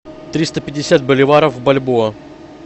триста пятьдесят боливаров в бальбоа